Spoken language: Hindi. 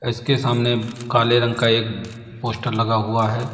उसके सामने काले रंग का एक पोस्टर लगा हुआ है।